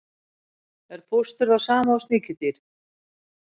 Er fóstur það sama og sníkjudýr?